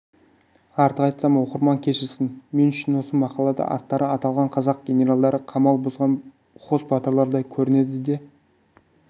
артық айтсам оқырман кешірсін мен үшін осы мақалада аттары аталған қазақ генералдары қамал бұзған хас батырлардай көрінеді де